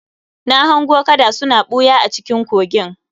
Na hango kada suna ɓuya a cikin kogin